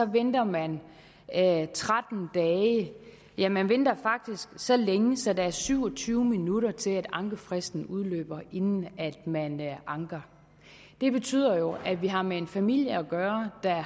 venter man tretten dage ja man venter faktisk så længe så der er syv og tyve minutter til at ankefristen udløber inden man anker det betyder jo at vi har med en familie at gøre der